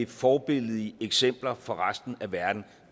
forbilledlige eksempler for resten af verden